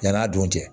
Yann'a dun cɛ